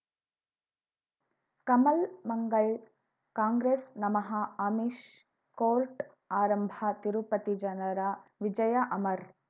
ಕಮಲ್ ಮಂಗಳ್ ಕಾಂಗ್ರೆಸ್ ನಮಃ ಅಮಿಷ್ ಕೋರ್ಟ್ ಆರಂಭ ತಿರುಪತಿ ಜನರ ವಿಜಯ ಅಮರ್